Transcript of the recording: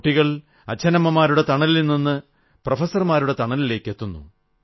കുട്ടികൾ അച്ഛനമ്മമാരുടെ തണലിൽ നിന്ന് പ്രൊഫസർമാരുടെ തണലിലേക്കെത്തുന്നു